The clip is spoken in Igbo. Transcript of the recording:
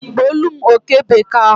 gbuolụm oke bekee ahụ.